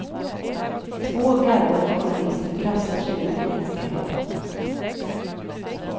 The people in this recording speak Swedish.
Två garvade journalister kastar sig ut i det iskalla vattnet.